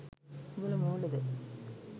උඹල මෝඩද?